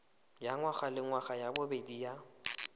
ya ngwagalengwaga ya bobedi ya